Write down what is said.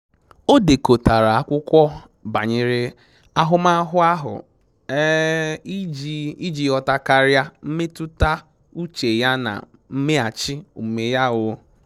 O dekọtara akwụkwọ banyere ahụmahụ ahụ um iji iji ghọta karịa mmetụta uche ya na mmeghachi omume ya um